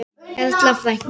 Erla frænka.